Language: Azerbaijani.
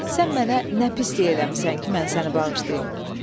Sən mənə nə pislik eləmisən ki, mən səni bağışlayım?